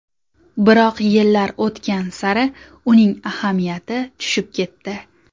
Biroq yillar o‘tgan sari uning ahamiyati tushib ketdi.